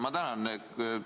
Ma tänan!